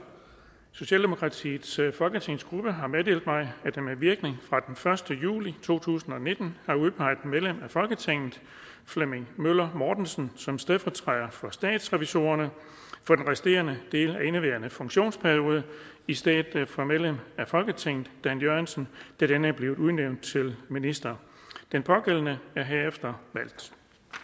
socialdemokratiets folketingsgruppe har meddelt mig at den med virkning fra den første juli to tusind og nitten har udpeget medlem af folketinget flemming møller mortensen som stedfortræder for statsrevisorerne for den resterende del af indeværende funktionsperiode i stedet for medlem af folketinget dan jørgensen da denne er blevet udnævnt til minister den pågældende er herefter valgt